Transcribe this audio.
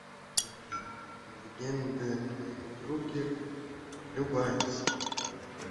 легенда о михаиле круге любая серия